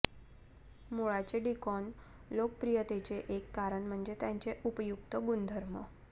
मुळाचे daikon लोकप्रियतेचे एक कारण म्हणजे त्याचे उपयुक्त गुणधर्म